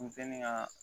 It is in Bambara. Misɛnin ka